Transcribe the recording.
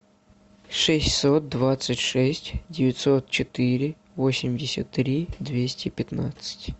шестьсот двадцать шесть девятьсот четыре восемьдесят три двести пятнадцать